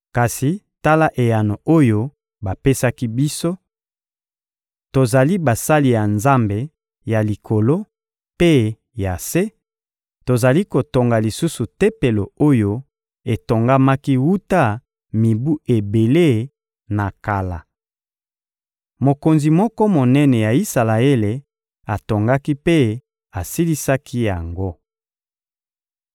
Kasi tala eyano oyo bapesaki biso: ‹Tozali basali ya Nzambe ya Likolo mpe ya se; tozali kotonga lisusu Tempelo oyo etongamaki wuta mibu ebele na kala. Mokonzi moko monene ya Isalaele atongaki mpe asilisaki yango.